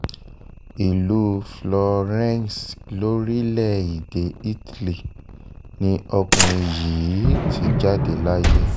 ìlú florence lórílẹ̀‐èdè italy ni ọkùnrin yìí ti jáde láyé